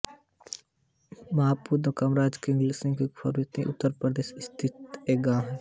महमदपुर कामराज कायमगंज फर्रुखाबाद उत्तर प्रदेश स्थित एक गाँव है